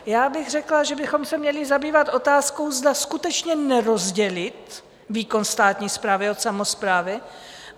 Já bych řekla, že bychom se měli zabývat otázkou, zda skutečně nerozdělit výkon státní správy od samosprávy.